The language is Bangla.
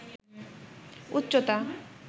উচ্চতা